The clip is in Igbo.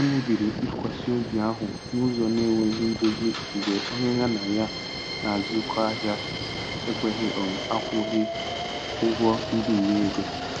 Emebiri ntụkwasị obi ahụ n'ụzọ na-enweghị ndozi mgbe onye ya na ya na-azụkọ ahịa ekweghị um akwụghị ụgwọ mbinye ego.